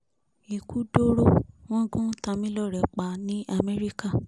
ikú dọ̀rọ̀ wọn gún tamilore pa ní amẹ́ríkà